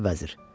Sən də vəzir.